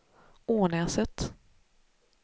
Ånäset